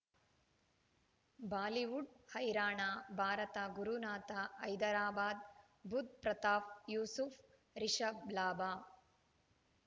Bollywood ಹೈರಾಣ ಭಾರತ ಗುರುನಾಥ ಹೈದರಾಬಾದ್ ಬುಧ್ ಪ್ರತಾಪ್ ಯೂಸುಫ್ ರಿಷಬ್ ಲಾಭ